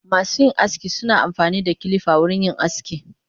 Masuyin aski suna amfanida kilifa wurin yin aski.